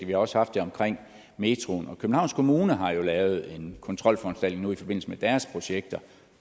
vi har også haft det omkring metroen københavns kommune har jo lavet en kontrolforanstaltning nu i forbindelse med deres projekter